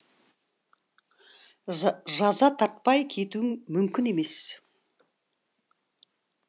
жаза тартпай кетуің мүмкін емес